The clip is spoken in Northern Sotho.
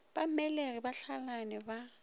ba mmelegi ba hlalane ba